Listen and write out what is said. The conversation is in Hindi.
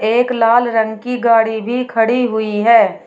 एक लाल रंग की गाड़ी भी खड़ी हुई है।